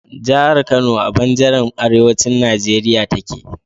jahar Kano a banjaran arewacin Nigeria take